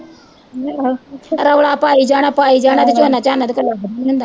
ਰੌਲਾ ਪਾਈ ਜਾਣਾ, ਪਾਈ ਜਾਣਾ ਕਿ ਝੋਨਾ, ਝੋਨਾ ਤਾਂ ਉਹਤੇ ਲੱਗ ਨੀਂ ਹੁੰਦਾ